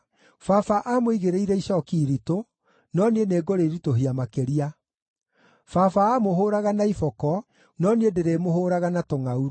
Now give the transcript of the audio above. Baba aamũigĩrĩire icooki iritũ, no niĩ nĩngũrĩritũhia makĩria. Baba aamũhũũraga na iboko, no niĩ ndĩrĩmũhũũraga na tũngʼaurũ.’ ”